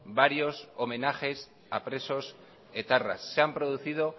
varios homenajes a presos se han producido